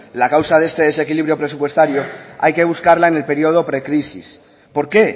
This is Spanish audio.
la causa de este desequilibrio presupuestario hay que buscarla en el periodo precrisis por qué